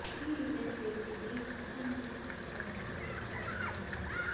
ఈ ఇండెక్స్ పేజీని పాఠం నుండి పాఠం వరకు సులభతరం చేయడానికి